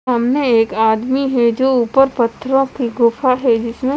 सामने एक आदमी है जो ऊपर पथरो की गुफा है जिसमे--